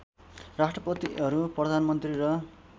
राष्ट्रपतिहरू प्रधानमन्त्री र